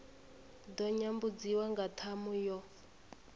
ḓo nyambudziwa nga ṱhamu yo